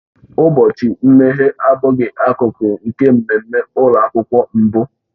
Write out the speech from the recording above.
Ụbọchị mmeghe abụghị akụkụ nke mmemme ụlọ akwụkwọ mbụ